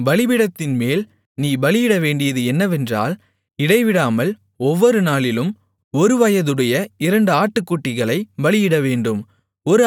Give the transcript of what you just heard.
பலிபீடத்தின்மேல் நீ பலியிடவேண்டியது என்னவென்றால் இடைவிடாமல் ஒவ்வொருநாளிலும் ஒருவயதுடைய இரண்டு ஆட்டுக்குட்டிகளைப் பலியிடவேண்டும்